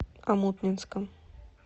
омутнинском